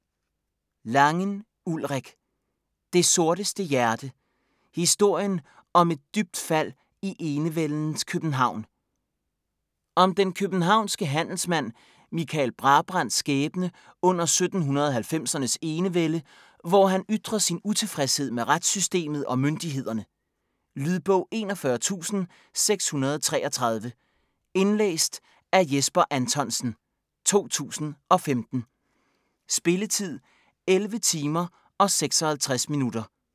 Langen, Ulrik: Det sorteste hjerte: historien om et dybt fald i enevældens København Om den københavnske handelsmand Michael Brabrands skæbne under 1790'ernes enevælde, hvor han ytrer sin utilfredshed med retssystemet og myndighederne. Lydbog 41633 Indlæst af Jesper Anthonsen, 2015. Spilletid: 11 timer, 56 minutter.